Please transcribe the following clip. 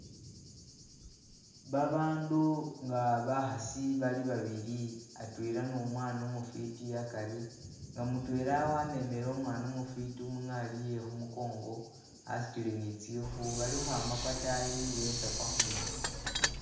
Babandu nga bakhasi bali babibi atwela nu mwana umufiiti akari nga mutwela wamemele umwana umufiiti umunghalye khumukongo asutile nitsikhu bali ukhwama kwatayi betsa kwakhuno